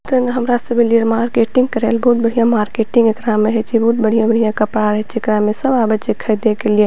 तेहने हमरा सब अलिए मार्केटिंग करेले बहुत बढ़िया मार्केटिंग एकरा में हेय छै बहुत बढ़िया बढ़िया कपड़ा रहे छै एकरा में सब आवे छै खरीदे के लिए।